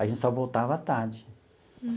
A gente só voltava à tarde.